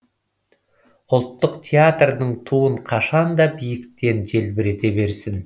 ұлттық театрдың туын қашан да биіктен желбірете берсін